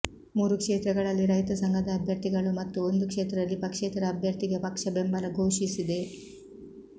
ಮೂರು ಕ್ಷೇತ್ರಗಳಲ್ಲಿ ರೈತ ಸಂಘದ ಅಭ್ಯರ್ಥಿಗಳು ಮತ್ತು ಒಂದು ಕ್ಷೇತ್ರದಲ್ಲಿ ಪಕ್ಷೇತರ ಅಭ್ಯರ್ಥಿಗೆ ಪಕ್ಷ ಬೆಂಬಲ ಘೋಷಿಸಿದೆ